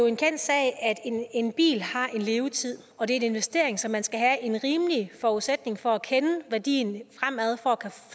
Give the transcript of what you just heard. en kendt sag at en bil har en levetid og det er en investering så man skal have en rimelig forudsætning for at kende værdien fremad for at